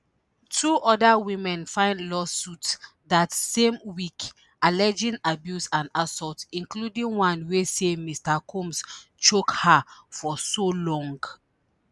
two oda women file lawsuits dat same week alleging abuse and assault including one wey say mr combs choke her for so long